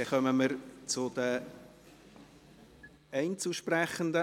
Somit kommen wir zu den Einzelsprechenden.